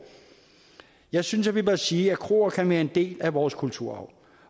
jeg synes vi bør sige at kroer kan være en del af vores kulturarv